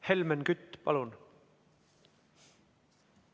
Helmen Kütt, palun!